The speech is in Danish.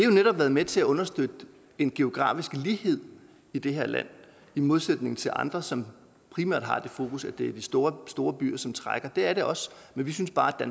jo netop været med til at understøtte en geografisk lighed i det her land i modsætning til andre som primært har det fokus at det er de store store byer som trækker det er det også men vi synes bare at